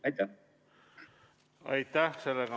Aitäh!